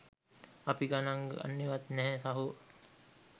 අපි ගනන් ගන්නෙවත් නැහැ සහෝ